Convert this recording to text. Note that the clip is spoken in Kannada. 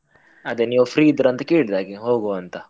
ಅದೇ ನೀವ್ free ಇದ್ರ ಅಂತ ಕೇಳಿದ್ ಹಾಗೆ, ಹೋಗುವ ಅಂತ.